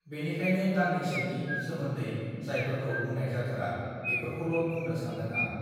बेनिखायनो गांनैसोनि सोमोन्दै जायफोरखौ बुंनाय जाथारा बेफोरखौल बुंनो सान्दों आं